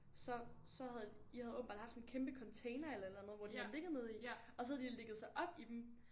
Så så havde I havde åbenbart haft sådan en kæmpe container eller et eller andet hvor de havde ligget nede i og så havde de ligget sig op i dem